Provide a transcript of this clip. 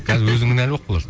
қазір өзің кінәлі болып қаласың